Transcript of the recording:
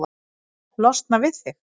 Losna við þig?